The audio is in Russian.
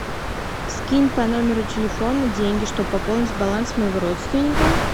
скинь по номеру телефона деньги чтобы пополнить баланс моего родственника